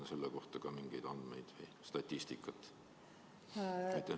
On selle kohta mingeid andmeid, statistikat?